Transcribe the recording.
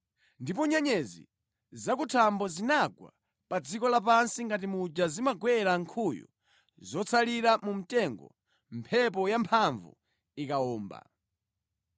ndipo nyenyezi zakuthambo zinagwa pa dziko lapansi ngati muja zimagwera nkhuyu zotsalira mu mtengo mphepo yamphamvu ikawomba.